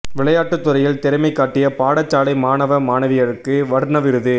விளையாட்டுத் துறையில் திறமை காட்டிய பாடசாலை மாணவ மாணவியருக்கு வர்ண விருது